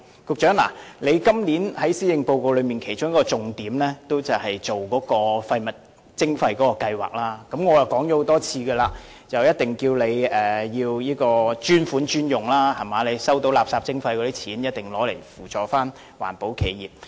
局長，你今年在施政報告的其中一個重點，就是廢物徵費計劃，我已多次告訴你要專款專用，收到廢物徵費的款項後，必須用以扶助環保企業。